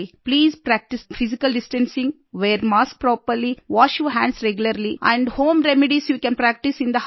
please practice physically distancing wear mask properly wash your hands regularly and home remedies you can practice in the house